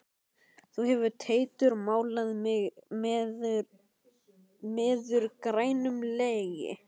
Þú hefur Teitur málað mig meður grænum legi.